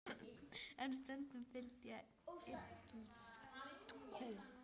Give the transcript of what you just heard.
En stundum fyllist ég illsku.